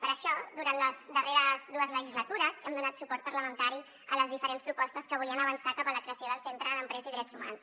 per això durant les darreres dues legislatures hem donat suport parlamentari a les diferents propostes que volien avançar cap a la creació del centre d’empresa i drets humans